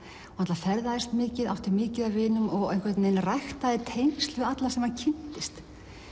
hann ferðaðist mikið átti mikið af vinum og ræktaði tengsl við alla sem hann kynntist